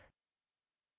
चलिए इसको हटा देते हैं